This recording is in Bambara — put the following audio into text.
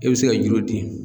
E bɛ se ka juru di